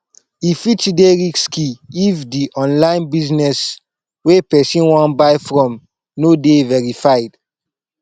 e fit dey risky if di online business wey person wan buy from no dey verified